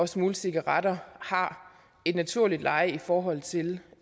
smugle cigaretter har et naturligt leje i forhold til